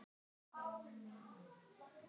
Okkur báðum.